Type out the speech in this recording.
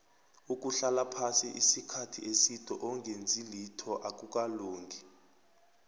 ukuhlala phasi isikhathi eside ongenzilitho akukalungi